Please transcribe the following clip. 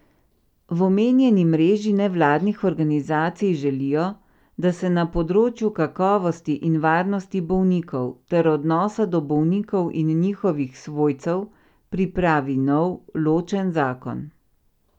V omenjeni mreži nevladnih organizacij želijo, da se na področju kakovosti in varnosti bolnikov ter odnosa do bolnikov in njihovih svojcev pripravi nov, ločen zakon.